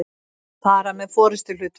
fara með forystuhlutverk.